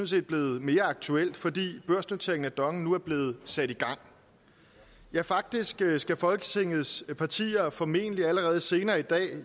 set blevet mere aktuelt fordi børsnoteringen af dong nu er blevet sat i gang ja faktisk skal folketingets partier formentlig allerede senere i dag